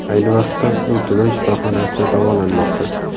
Ayni vaqtda u tuman shifoxonasida davolanmoqda.